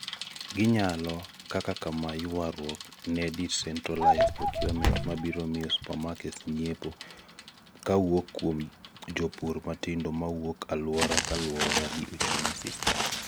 gi nyalo, kaka kamaa, yuaruok ne decentralised procurement mabiro miyo supermarkets nyiepo kawuok kuom jopur matindo mawuok aluora kaluwore gi uchumi system